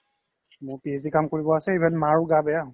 মোৰ PhD ৰ কাম কৰিব আছে even মাৰো গা বেয়া